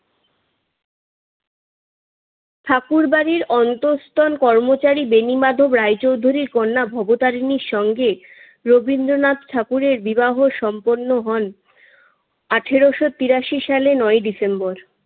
ঠাকুরবাড়ির অন্তস্থন কর্মচারী বেনিমাধব রায় চৌধুরীর কন্যা ভবতারিনীর সঙ্গে রবীন্দ্রনাথ ঠাকুরের বিবাহ সম্পন্ন হন আঠারোশো তিরাশি সালের নয়ই ডিসেম্বর।